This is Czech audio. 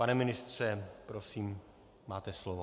Pane ministře, prosím, máte slovo.